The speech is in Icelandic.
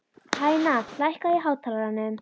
Tanya, lækkaðu í hátalaranum.